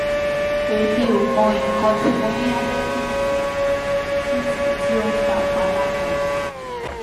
emi o mo ikan ti mo ni cs] allergy si ti si ti o n fa ipalara yi